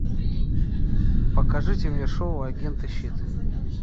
покажите мне шоу агенты щит